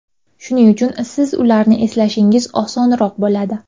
Shuning uchun siz ularni eslashingiz osonroq bo‘ladi.